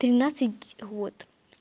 тринадцать год